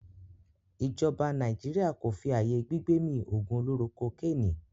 ijoba Naijiria ko fí ayé gbigbemi ogun oloro kokeni.